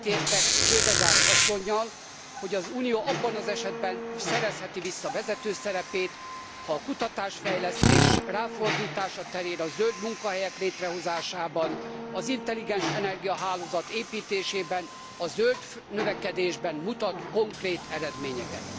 Egyetértek Hedegaard asszonnyal, hogy az Unió abban az esetben szerezheti vissza vezető szerepét, ha a kutatásfejlesztés ráfordítása terén, a zöld munkahelyek létrehozásában, az intelligens energiahálózat építésében, a zöld növekedésben mutat konkrét eredményeket.